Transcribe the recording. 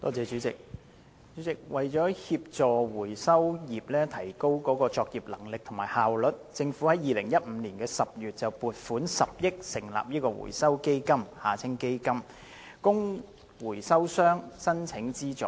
主席，為協助回收業提高作業能力和效率，政府於2015年10月撥款10億元成立回收基金，供回收商申請資助。